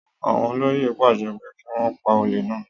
Àwọn olóyè pàṣẹ pé kí wọ́n pa olè náà.